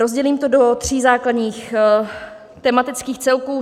Rozdělím to do tří základních tematických celků.